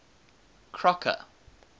crocker